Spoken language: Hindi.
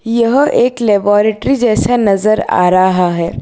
यह एक लेबोरेटरी जैसा नज़र आ रहा है।